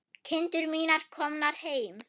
Kindur mínar komnar heim.